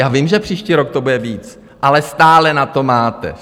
Já vím, že příští rok to bude víc, ale stále na to máte.